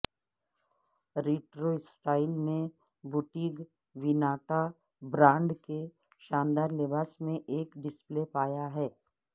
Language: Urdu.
ریٹرو سٹائل نے بوٹٹیگ ویناٹا برانڈ کے شاندار لباس میں ایک ڈسپلے پایا ہے